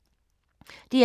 DR1